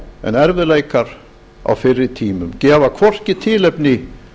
en erfiðleikar á fyrri tímum gefa hvorki tilefni